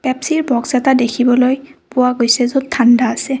Pepsi ৰ box এটা দেখিবলৈ পোৱা গৈছে য'ত ঠাণ্ডা আছে।